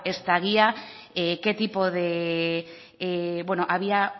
esta guía había